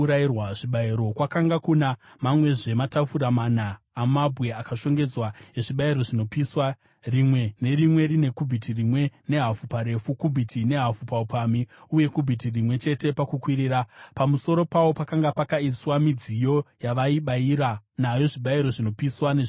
Kwakanga kuna mamwezve matafura mana amabwe akashongedzwa ezvibayiro zvinopiswa, rimwe nerimwe rine kubhiti rimwe nehafu paurefu, kubhiti nehafu paupamhi uye kubhiti rimwe chete pakukwirira. Pamusoro pawo pakanga pakaiswa midziyo yavaibayira nayo zvibayiro zvinopiswa nezvimwewo zvibayiro.